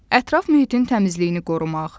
Ətraf mühitin təmizliyini qorumaq.